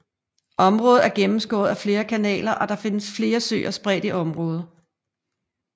Området er gennemskåret af flere kanaler og der findes flere søer spredt i området